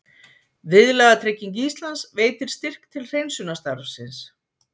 Viðlagatrygging Íslands veitir styrk til hreinsunarstarfsins